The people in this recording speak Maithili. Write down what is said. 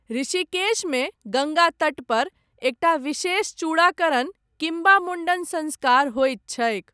ऋषिकेशमे गङ्गा तटपर, एकटा विशेष चूड़ाकरण, किम्बा मुण्डन सङ्स्कार होइत छैक।